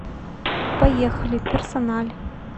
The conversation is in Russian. поехали персональ